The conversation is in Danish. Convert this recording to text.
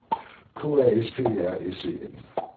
K A S P E R S E N